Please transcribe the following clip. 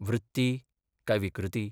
वृत्ती काय विकृती?